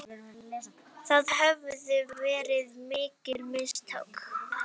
Það höfðu verið mikil mistök.